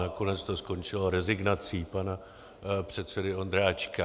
Nakonec to skončilo rezignací pana předsedy Ondráčka.